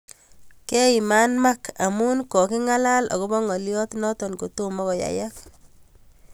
Keiman Mark amu kokingalal akopo ngoliot noto kotomo koyayak.